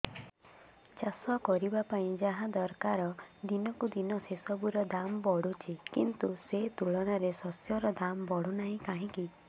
ଚାଷ କରିବା ପାଇଁ ଯାହା ଦରକାର ଦିନକୁ ଦିନ ସେସବୁ ର ଦାମ୍ ବଢୁଛି କିନ୍ତୁ ସେ ତୁଳନାରେ ଶସ୍ୟର ଦାମ୍ ବଢୁନାହିଁ କାହିଁକି